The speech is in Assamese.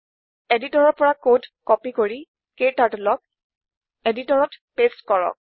এডিটৰতৰ পৰা কোড কপি কৰি KTurtleক এডিটৰত পেচ্ট কৰক